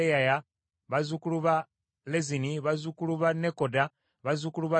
bazzukulu ba Lezini, bazzukulu ba Nekoda, bazzukulu ba Gazzamu,